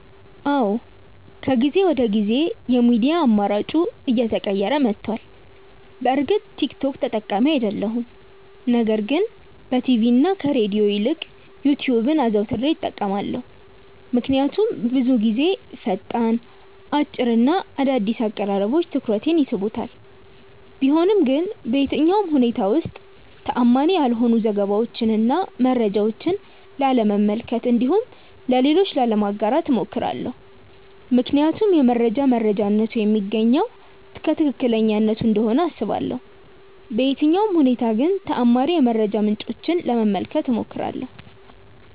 አዎ ከጊዜ ወደ ጊዜ የሚዲያ አማራጬ እየተቀየረ መቷል። በእርግጥ ቲክ ቶክ ተጠቃሚ አይደለሁም ነገር ግን በቲቪ እና ከሬድዮ ይልቅ ዩትዩብን አዘውትሬ እጠቀማለሁ። ምክንያቱም ብዙውን ጊዜ ፈጣን፣ አጭር እና አዳዲስ አቀራረቦች ትኩረቴን ይስቡታል። ቢሆንም ግን በየትኛውም ሁኔታዎች ውስጥ ተአማኒ ያልሆኑ ዘገባዎችን እና መረጃዎችን ላለመመልከት እንዲሁም ለሌሎች ላለማጋራት እሞክራለሁ። ምክንያቱም የመረጃ መረጃነቱ የሚገኘው ከትክክለኛነቱ እንደሆነ አስባለሁ። በየትኛውም ሁኔታ ግን ተአማኒ የመረጃ ምንጮችን ለመመልከት እሞክራለሁ።